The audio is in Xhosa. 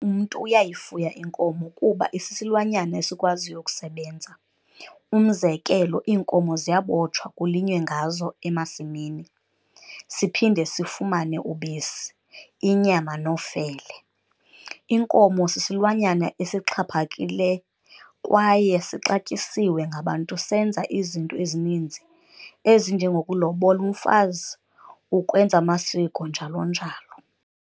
Umntu uyayifuya inkomo kuba isisilwanyana esikwaziyo ukusebenza, umzekelo iinkomo ziyabotshwa kulinywe ngazo emasimini, siphinde sifumane ubisi, inyama nofele. Inkomo sisilwanyana esixhaphakile kwaye sixatyisiwe ngabantu senza izinto ezininzi ezinjengokulobola umfazi, ukwenza amasiko njalo-njalo.